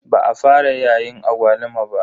Ba a fara yayin agwaluma ba.